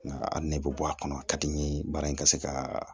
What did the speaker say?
Nka a nɛ bɛ bɔ a kɔnɔ a ka di n ye baara in ka se ka